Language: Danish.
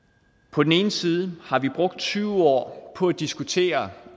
på den ene side har vi brugt tyve år på at diskutere